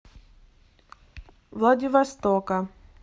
владивостока